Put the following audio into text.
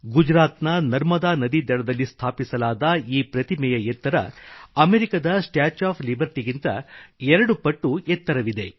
ಗುಜರಾತ್ನ ನರ್ಮದಾ ನದಿ ದಡದಲ್ಲಿ ಸ್ಥಾಪಿಸಲಾದ ಈ ಪ್ರತಿಮೆಯ ಎತ್ತರ ಅಮೇರಿಕದ ಸ್ಟ್ಯಾಚ್ಯೂ ಆಫ್ ಲಿಬರ್ಟಿಗಿಂತ 2 ಪಟ್ಟು ಎತ್ತರವಿದೆ